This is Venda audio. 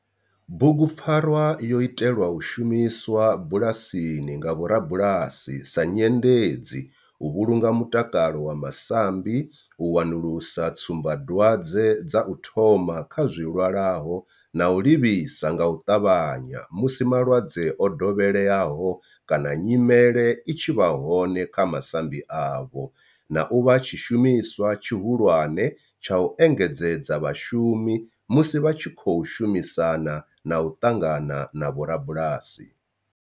Bugupfarwa yo itelwa u shumiswa bulasini nga vhorabulasi sa nyendedzi u vhulunga mutakalo wa masambi, u wanulusa tsumbadwadzwe dza u thoma kha zwilwalaho na u livhisa nga u ṱavhanya musi malwadze o dovheleaho kana nyimele i tshi vha hone kha masambi avho, na u vha tshishumiswa tshihulwane tsha u engedzedza vhashumi musi vha tshi khou shumisana na u ṱangana na vhorabulasi.